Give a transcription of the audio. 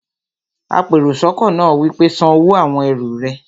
apèròsọ́kọ́ náà wí pé, "san owó àwon ẹrù rẹ!